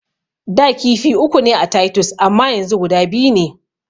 Da kifi uku ne a taytus amma yanzu guda biyu ne.